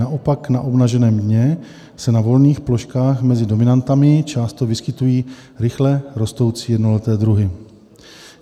Naopak na obnaženém dně se na volných ploškách mezi dominantami často vyskytují rychle rostoucí jednoleté druhy.